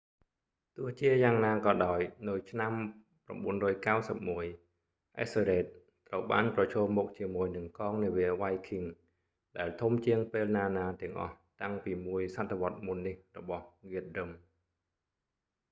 ទោះជាយ៉ាងណាក៏ដោយ នៅឆ្នាំ 991 អិសស៊ើររេដ ethelred ត្រូវបានប្រឈមមុខជាមួយនឹងកងនាវាវ៉ៃឃីង viking ដែលធំជាងពេលណាៗទាំងអស់តាំងពីមួយសតវត្សរ៍មុននេះរបស់ហ្គាតរឹម guthrum